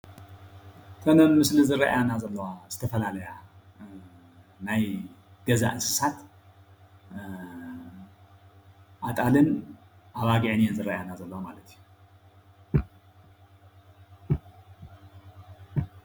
እተን ኣብ ምስሊ ዝረአያና ዘለዋ ዝተፈላለያ ናይ ገዛ እንስሳት ኣጣልን ኣባጊዕን እየን ዝረአያና ዘለዋ ማለት እዩ፡፡